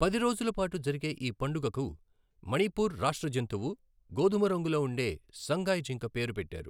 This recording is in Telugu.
పది రోజుల పాటు జరిగే ఈ పండుగకు మణిపూర్ రాష్ట్ర జంతువు, గోధుమ రంగులో ఉండే సంగాయ్ జింక పేరు పెట్టారు.